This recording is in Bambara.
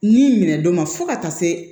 Ni minɛ don ma fo ka taa se